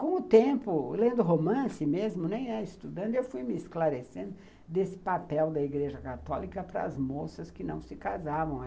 Com o tempo, lendo romance mesmo, nem é estudando, eu fui me esclarecendo desse papel da Igreja Católica para as moças que não se casavam.